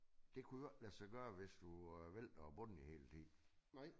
Det kunne jo ikke lade sig gøre hvis du vælter bunden hele tiden